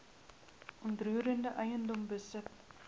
onroerende eiendom besit